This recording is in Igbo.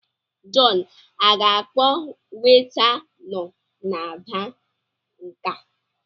Jọn aga-akpọ weta nọ na baa nke a?